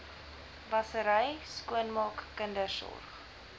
wassery skoonmaak kindersorg